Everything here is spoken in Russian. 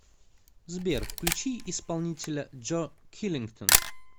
сбер включи исполнителя джо киллингтон